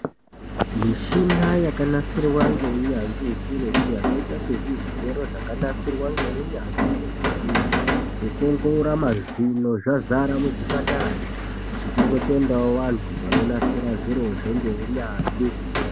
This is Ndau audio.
Michina yakanasirwa neunyanzvi ukurutu zvakaita sezvigero zvakanasirwa neunyanzvi nezvisimbi zvekuongorora mazino zvazara muchipataramo tichingotendawo vantu vanonasira zvirozvo neunyanzvi.